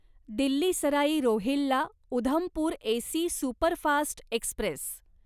Delhi Sarai Rohilla Udhampur AC superfast Express